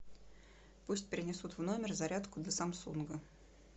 пусть принесут в номер зарядку для самсунга